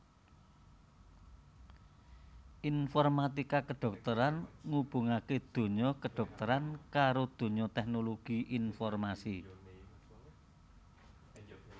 Informatika kedhokteran ngubungaké donya kedhokteran karo donya teknologi informasi